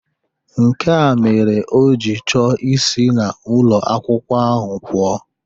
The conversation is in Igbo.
Nkea mere o ji chọọ isi n'ụlọ akwụkwọ ahụ pụọ.